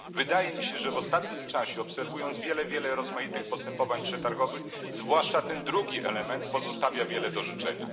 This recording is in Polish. Wydaje mi się, że w ostatnim czasie, na podstawie obserwacji wielu rozmaitych postępowań przetargowych, zwłaszcza ten drugi element pozostawia wiele do życzenia.